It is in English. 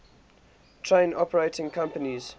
train operating companies